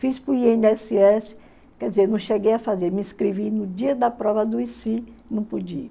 Fiz para o i ene esse esse quer dizer, não cheguei a fazer, me inscrevi no dia da prova adoeci, não pude ir